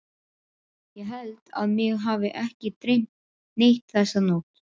Ég held að mig hafi ekki dreymt neitt þessa nótt.